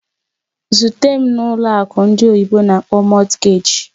Zute m na ụlọ akụ ndị oyibo n'akpọ "Mortgage"!